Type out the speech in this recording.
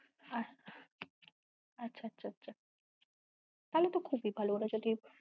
আহ আচ্ছা আচ্ছা আচ্ছা তাহলে তো খুবই ভালো ওরা যদি